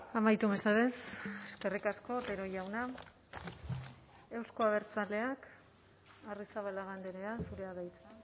amaitu mesedez eskerrik asko otero jauna euzko abertzaleak arrizabalaga andrea zurea da hitza